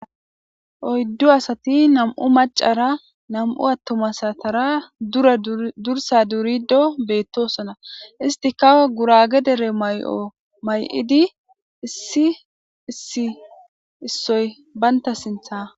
Oyddu asati nam7u macara nam7u attoma satara dura dursa durido beettosona; isti kawe gurage dere may7o may7idi issi issi issoy banta sintha.